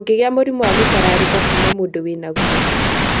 Ndũngĩgia mũrimũ wa mũtarariko kuma mũndũ wĩnaguo.